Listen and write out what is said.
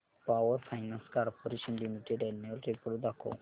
power finance corporation limited annual report दाखव